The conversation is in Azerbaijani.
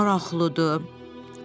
Maraqlıdır, Pux dedi.